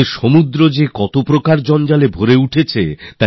আমাদের সমুদ্র কিভাবে আবর্জনায় ভরতি করা হচ্ছে